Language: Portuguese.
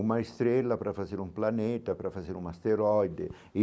Uma estrela para fazer um planeta, para fazer um asteroide e.